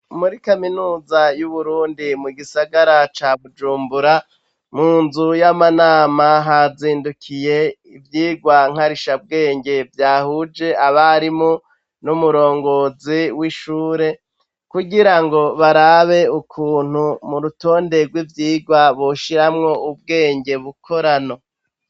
Muri kaminuza yu Burundi mu gisagara ca Bujumbura munzu y'amanama hazindukiye ivyigwa nkarisha bwenge vyahuje abarimu n'umurongozi w'ishure kugirango barabe ukuntu mu rutonde rw'ivyigwa boshiramwo ubwenge bukorano.